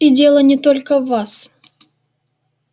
и дело не только в вас